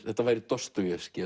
þetta væri